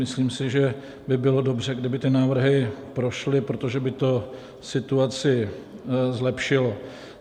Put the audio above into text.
Myslím si, že by bylo dobře, kdyby ty návrhy prošly, protože by to situaci zlepšilo.